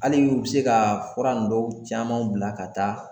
Hali u bɛ se ka fura indɔw caman bila ka taa